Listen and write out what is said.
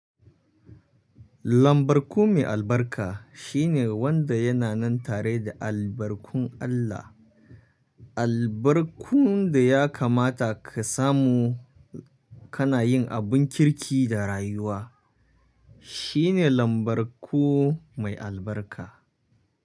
Lambarku mai albarka shine wanda yana nan tare da albarkun Allah. Albarkun da ya kamata ka samu kana yin abun kirki da rayuwa shine lambarku mai albarka.